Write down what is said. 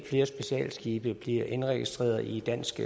flere specialskibe bliver indregistreret i dansk